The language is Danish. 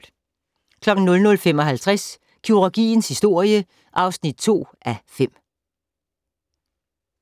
00:55: Kirurgiens historie (2:5)